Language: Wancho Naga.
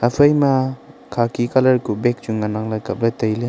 aphai ma khaki colour kuh bag chu ngan nang le kaple taile.